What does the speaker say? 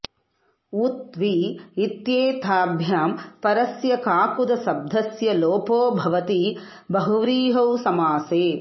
उत् वि इत्येताभ्यां परस्य काकुदशब्दस्य लोपो भवति बहुव्रीहौ समासे